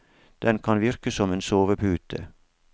Den kan virke som en sovepute.